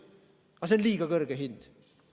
Aga see on liiga kõrge hind.